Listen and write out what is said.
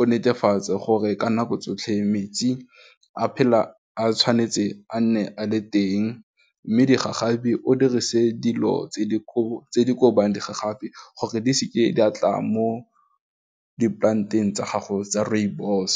o netefatse gore ka nako tsotlhe metsi a phela a tshwanetse a nne a le teng mme digagabi o dirise dilo tse di kobang digagabi gore di seke di a tla mo di plant-eng tsa gago tsa rooibos.